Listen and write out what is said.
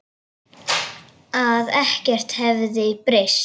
Að ekkert hefði breyst.